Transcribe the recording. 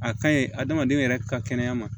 A kaɲi adamaden yɛrɛ ka kɛnɛya ma